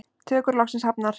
Tökur loksins hafnar